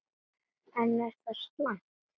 En er það slæmt?